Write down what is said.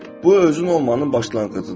Bu özün olmağın başlanğıcıdır.